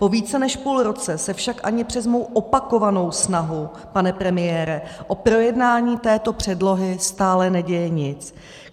Po více než půl roce se však ani přes moji opakovanou snahu, pane premiére, o projednání této předlohy stále neděje nic.